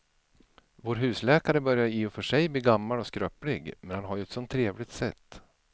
Vår husläkare börjar i och för sig bli gammal och skröplig, men han har ju ett sådant trevligt sätt!